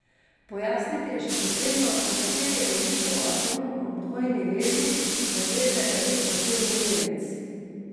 Pojasniti je še potrebno, na kateri ogljikov atom ob dvojni vezi, se veže elektrofilni delec.